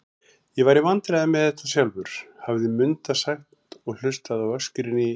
Ég var í vandræðum með þetta slátur, hafði Munda sagt og hlustað á öskrin í